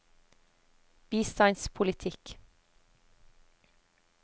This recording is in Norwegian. bistandspolitikk